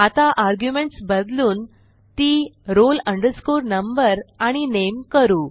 आता अर्ग्युमेंटस बदलून ती roll number आणि नामे करू